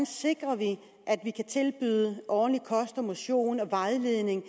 sikrer at vi kan tilbyde ordentlig kost og motion og vejledning og